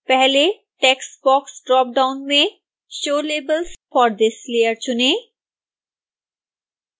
पहले text box dropdown में show labels for this layer चुनें